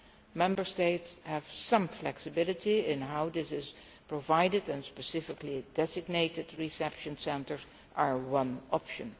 The Member States have some flexibility in how this is provided, and specifically designated reception centres are one option.